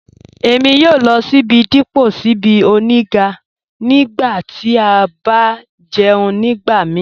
Èmi yòò lọ síbí dípọ̀ síbí ọ̀nígà nígbà tí a bá jẹ̀ún nígbàmíì